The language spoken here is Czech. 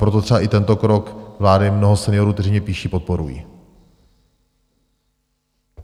Proto třeba i tento krok vlády mnoho seniorů, kteří mi píší, podporuje.